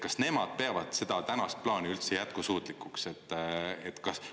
Kas nemad peavad seda tänast plaani üldse jätkusuutlikuks?